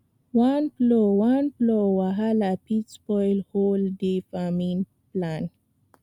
one plow one plow wahala fit spoil whole day farming plan